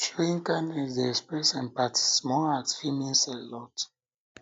showing kindness dey express empathy small act fit mean a lot